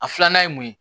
A filanan ye mun ye